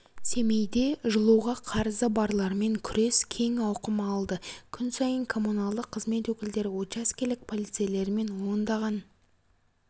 семейде жылуға қарызы барлармен күрес кең ауқым алды күн сайын коммуналдық қызмет өкілдері учаскелік полицейлермен ондаған